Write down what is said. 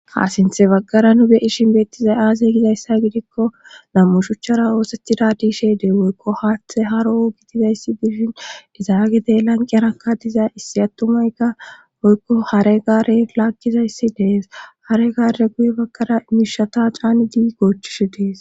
Kaasinthe baggara nu beyishin beettizay aaze gidayssa gidikko lammushuchchara ooseti daadiishe dee woykko haaththe haro gidizayssi bishin dizaagedey lanqerakka diza issi attumayka oykko hare gaare laakkizayssi dees hare gaare guye baggara miishata caani di goochishe dees.